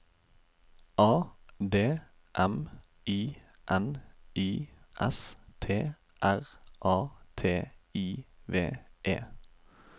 A D M I N I S T R A T I V E